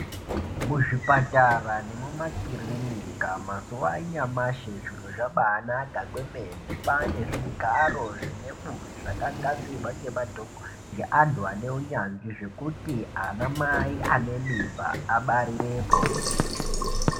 Muzvipatara nemuma kirinika mazuva anyamasi zviro zvabaanaka kwemene kwaane zvigaro zvineburi zvakagadzirwa ngeantu ane unyanzvi zvekuti anamai ane mimba abarirepo.